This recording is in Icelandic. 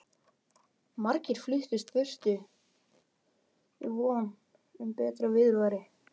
Margir fluttust burtu í von um betra viðurværi.